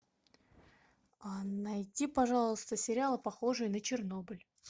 найди пожалуйста сериалы похожие на чернобыль